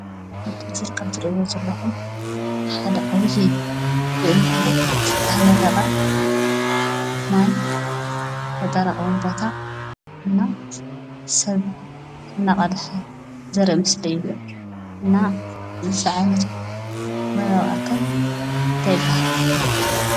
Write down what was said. ኣብቲ ምስሊ ከምትሪእዎ ዘለኹም ሓደ ዓብዪ ብእምኒ ዝተነደቐ ማይ መጠራቐሚ ቦታ እና ሰብ እናቐድሐ ዘርኢ ምስሊ እዩ፡፡ እና እዚ ዓይነቱ ማያዊ ኣካል እንታይ ይበሃል?